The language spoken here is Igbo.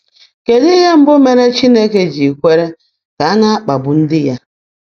Kedụ ihe mbụ mere Chineke ji kwere ka a na-akpagbu ndị ya?